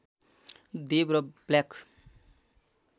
देव र ब्ल्याक